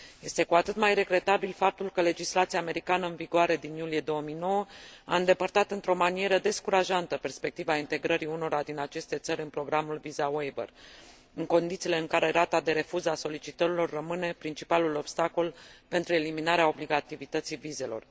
Este cu atât mai regretabil faptul că legislația americană în vigoare din iulie 2009 a îndepărtat într o manieră descurajantă perspectiva integrării unora din aceste țări în programul Visa Waiver, în condițiile în care rata de refuz a solicitărilor rămâne principalul obstacol pentru eliminarea obligativității vizelor.